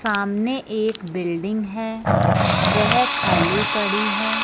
सामने एक बिल्डिंग है वह खाली पड़ी है।